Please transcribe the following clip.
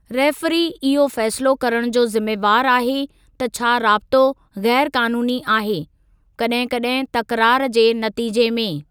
Referee इहो फ़ैसिलो करणु जो ज़िमेवार आहे त छा राब़्तो ग़ैरु क़ानूनी आहे, कॾहिं कॾहिं तकरारु जे नतीजे में।